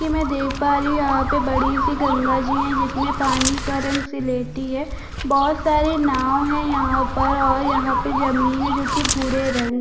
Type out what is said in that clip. मै देख पा रही हूँ यहाँ पर बड़ी सी गंगा जी है जिसमे पानी का रंग सिलेटी है बोहत बोहत सारे नाव है यहाँ पर और यहाँ पे जमीन है जो की भुरे रंग--